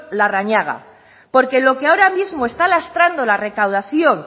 larrañaga porque lo que ahora mismo está lastrando la recaudación